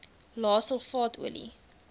lae sulfaat olie